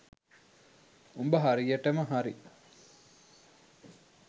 උඹ හරියටම හරි